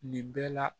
Nin bɛɛ la